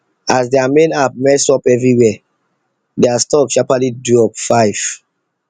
as their main app mess up everywhere their stock sharpaly drop five